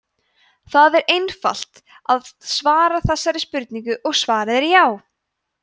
það er einfalt að svara þessari spurningu og svarið er já!